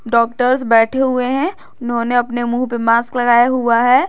Doctors बैठे हुए हैं उन्होंने अपने मुंह पे मास्क लगाए हुआ है।